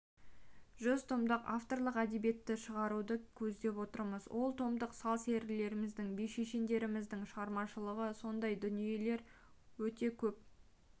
жүз томдық авторлық әдебиетті шығаруды көздеп отырмыз ол томдық сал-серілеріміздің би-шешендеріміздің шығармашылығы сондай дүниелер өте көп